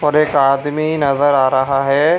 और एक आदमी नजर आ रहा है।